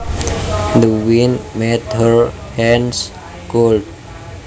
The wind made her hands cold